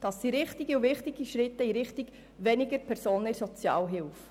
Das sind richtige und wichtige Schritte in Richtung weniger Personen in der Sozialhilfe.